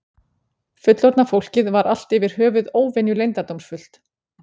Fullorðna fólkið var allt yfir höfuð óvenju leyndardómsfullt.